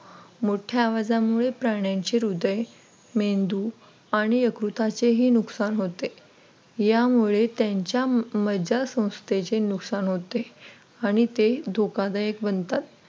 मोठ्या आवाजानमुळे प्राण्यांची हृदय मेंदू आणि यकृताचे हे नुकसान होते त्यामुळे त्यांच्या मज्जा संस्थेचे नुकसान होते आणि ते धोकादायक बनतात.